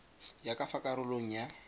ya ka fa karolong ya